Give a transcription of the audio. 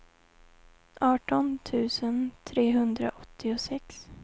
arton tusen trehundraåttiosex